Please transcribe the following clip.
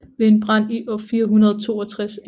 Ved en brand i år 462 e